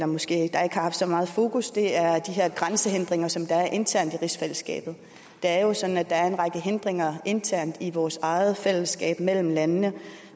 måske ikke har haft så meget fokus er her grænsehindringer som der er internt i rigsfællesskabet det er jo sådan at der er en række hindringer internt i vores eget fællesskab mellem landene